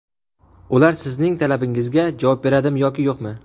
Ular sizning talabingizga javob beradimi yoki yo‘qmi?